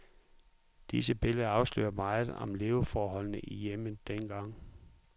Disse billeder afslører meget om leveforholdene i hjemmet dengang.